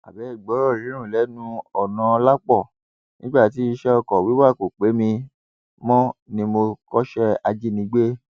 abẹẹ gbọrọ runrun lẹnu ọnàọlápọ nígbà tí iṣẹ ọkọ wíwà kò pé mi mọ ni mo kọṣẹ ajínigbé